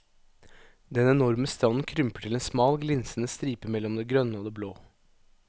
Den enorme stranden krymper til en smal glinsende stripe mellom det grønne og det blå.